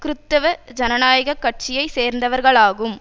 கிறிதுவ ஜனநாயக கட்சியை சேர்ந்தவர்களாகும்